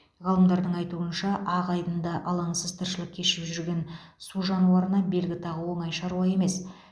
ғалымдардың айтуынша ақ айдында алаңсыз тірлік кешіп жүрген су жануарына белгі тағу оңай шаруа емес